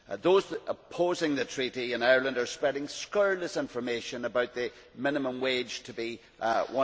Those opposing the Treaty in Ireland are spreading scurrilous information about the minimum wage to be EUR